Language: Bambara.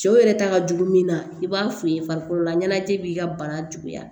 Cɛw yɛrɛ ta ka jugu min na i b'a f'u ye farikololaɲɛnajɛ b'i ka bana juguya